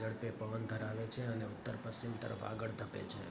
ઝડપે પવન ધરાવે છે અને ઉત્તર-પશ્ચિમ તરફ આગળ ધપે છે